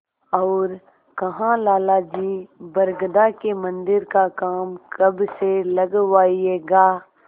और कहालाला जी बरगदा के मन्दिर का काम कब से लगवाइएगा